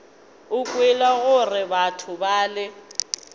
o kwele gore batho bale